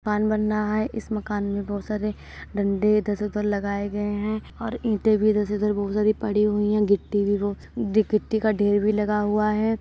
मकान बन रहा है इस मकान में बहुत सारे डंडे इधर से उधर लगाए गए हैं और इटे भी इधर से उधर बहुत सारी पड़ी हुई हैं गिट्टी भी गिट्टी का ढेर भी लगा हुआ है।